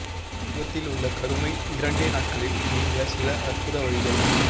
முகத்தில் உள்ள கருமை இரண்டே நாட்களில் நீங்க சில அற்புத வழிகள்